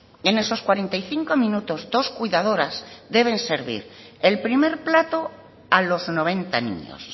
y en esos cuarenta y cinco minutos dos cuidadoras deben servir el primer plato a los noventa niños